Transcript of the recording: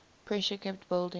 pressure kept building